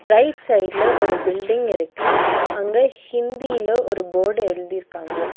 Right சைடுல ஒரு building இருக்கு அங்க ஹிந்தில ஒரு போர்டு எழுதி இருக்காங்க.